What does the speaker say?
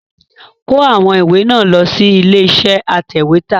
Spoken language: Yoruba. Kó àwọn ìwé náà lọ sí ilé iṣẹ́ atẹ̀wẹ́tà!